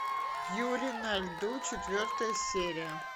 юрий на льду четвертая серия